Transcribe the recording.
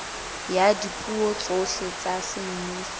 ya dipuo tsohle tsa semmuso